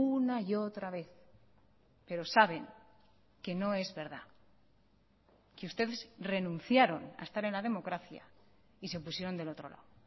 una y otra vez pero saben que no es verdad que ustedes renunciaron a estar en la democracia y se pusieron del otro lado